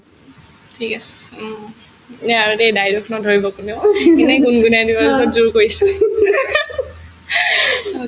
ঠিক আছে উম আৰু দেই দাই-দোষ নধৰিব কোনেও এনে গুণগুণাই দিম আৰু বহুত জোৰ কৰিছে